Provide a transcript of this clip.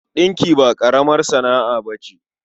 Ɗinki ba ƙaramar sana'a ba ce.